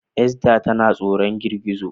Esta tana tsoron girgizo